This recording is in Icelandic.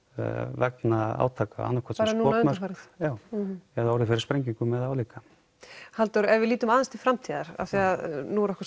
vegna átaka bara núna undanfarið já orðið fyrir sprengingum eða álíka Halldór ef við lítum aðeins til framtíðar af því nú er okkur